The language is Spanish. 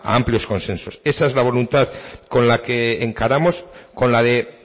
a amplios consensos esa es la voluntad con la que encaramos con la de